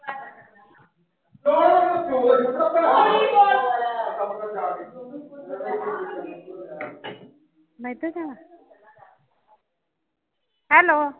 . ਮੈਂ ਇਧਰ ਜਾਣਾ Hello